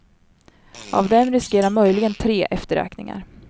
Av dem riskerar möjligen tre efterräkningar.